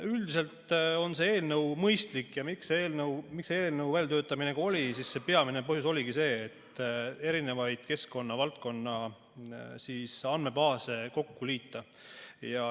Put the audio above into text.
Üldiselt on see eelnõu mõistlik ja peamine põhjus, miks see eelnõu välja töötati, oligi see, et erinevaid keskkonnavaldkonna andmebaase kokku liita.